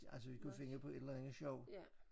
Altså vi kunne finde på et eller andet sjovt